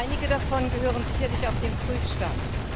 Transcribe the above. Einige davon gehören sicherlich auf den Prüfstand.